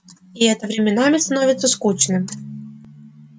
и это временами становится скучным